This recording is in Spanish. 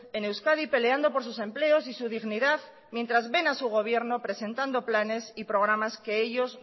en euskadi peleando por sus empleos y su dignidad mientras ven a su gobierno presentando planes y programas que ellos